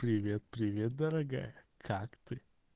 привет привет дорогая как ты